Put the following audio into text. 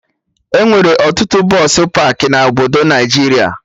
Enwere ọtụtụ bọsụ pakị na obodo Naijiria